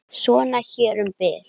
Svona hér um bil.